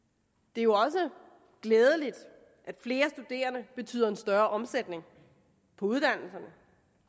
det er også glædeligt at flere studerende betyder en større omsætning på uddannelserne